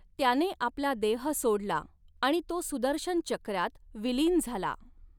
त्याने आपला देह सोडला आणि तो सुदर्शन चक्रात विलीन झाला.